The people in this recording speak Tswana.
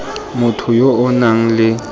motho yo o nang le